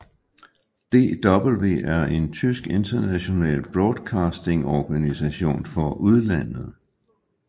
DW er en tysk international broadcastingsorganisation for udlandet